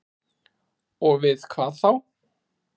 Og við hvað þá?